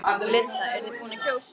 Linda: Eruð þið búin að kjósa?